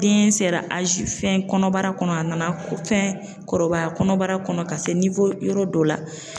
Den sera fɛn kɔnɔbara kɔnɔ, a nana fɛn kɔrɔbaya kɔnɔbara kɔnɔ ka se yɔrɔ dɔ la.